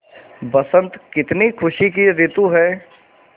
बसंत कितनी खुशी की रितु है